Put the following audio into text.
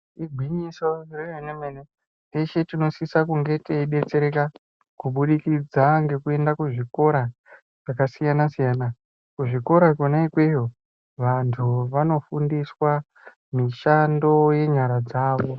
Igwinyiso remene-mene. Teshe tinosisa kunge teidetsereka kubudikidza ngekuenda kuzvikora zvakasiyana-siyana. Kuzvikora kwona ikweyo vantu vanofundiswa mishando yenyara dzavo.